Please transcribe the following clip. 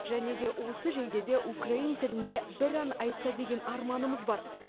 және де осы жейдеде украин тілінде бір ән айтса деген арманымыз бар